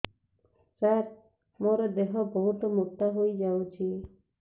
ସାର ମୋର ଦେହ ବହୁତ ମୋଟା ହୋଇଯାଉଛି